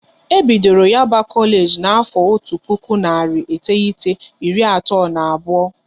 E bidoro Yaba Kolage na afo otu puku narị iteghete, iri atọ na abụọ